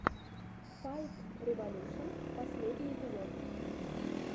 файтреволюшн последний эпизод